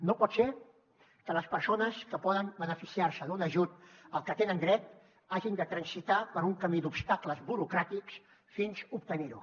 no pot ser que les persones que poden beneficiar se d’un ajut al que tenen dret hagin de transitar per un camí d’obstacles burocràtics fins obtenir lo